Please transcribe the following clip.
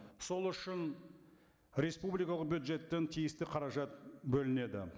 сол үшін республикалық бюджеттен тиісті қаражат бөлінеді